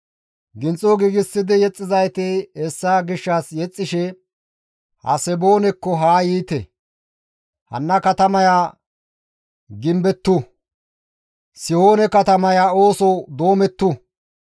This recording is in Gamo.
Ginxo giigsidi yexxizayti hessa gishshas yexxishe «Haseboonekko haa yiite! Hanna katamaya gimbettu! Sihoone katamaya ooso doomettu.